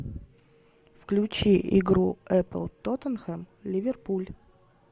включи игру апл тоттенхэм ливерпуль